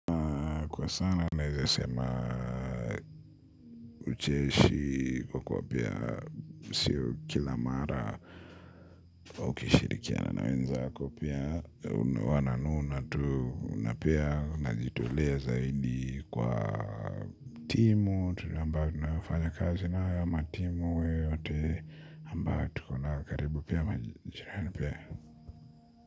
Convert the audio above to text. Kwa sana naweza sema ucheshi kwa kuwa pia siyo kila mara wa ukishirikiana nawenzako pia wananuna tu unapea najitolea zaidi kwa timu, amba tunafanya kazi nayao ama timu yoyote ambayo tukonayo karibu pia majirani pia.